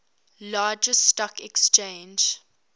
largest stock exchange